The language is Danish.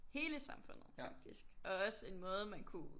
Hele samfundet faktisk og også en måde man kunne